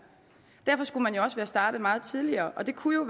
derfor skulle man også være startet meget tidligere og det kunne jo